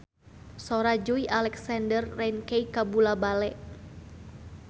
Sora Joey Alexander rancage kabula-bale